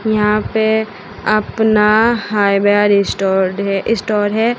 यहां पे अपना हाईवे स्टोर्ड स्टोर है।